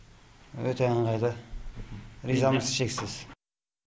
өте ыңғайлы ризамыз шексіз